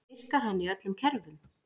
Virkar hann í öllum kerfum?